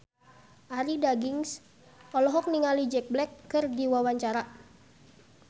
Arie Daginks olohok ningali Jack Black keur diwawancara